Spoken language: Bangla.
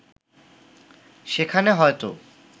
সেখানে হয়তো